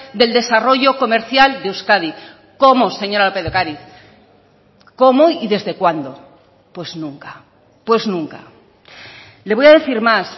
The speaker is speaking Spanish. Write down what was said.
del desarrollo comercial de euskadi cómo señora lópez de ocariz cómo y desde cuándo pues nunca pues nunca le voy a decir más